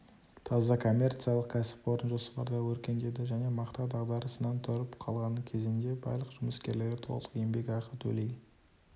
таза коммерциялық кәсіпорын жоспарда өркендеді және мақта дағдарысынан тұрып қалған кезең де барлық жұмыскерлерге толық еңбекақы төлей